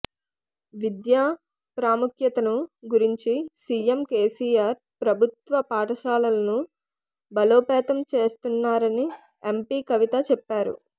విద్య ప్రాముఖ్యతను గుర్తించి CM KCR ప్రభుత్వ పాఠశాలలను బలోపేతం చేస్తున్నారని ఎంపీ కవిత చెప్పారు